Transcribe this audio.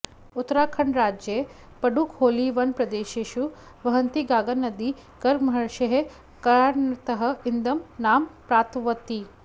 उत्तराखण्डराज्ये पडुखोलीवनप्रदेशेषु वहन्ती गागानदी गर्गमहर्षेः कारणतः इदं नाम प्राप्तवती